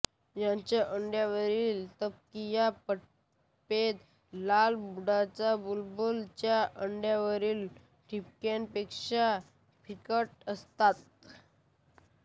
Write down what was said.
यांच्या अंड्यांवरील तपकिरी ठिपके लाल बुडाचा बुलबुल च्या अंड्यांवरील ठिपक्यांपेक्षा फिकट असतात